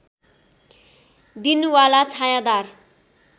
दिन वाला छायाँदार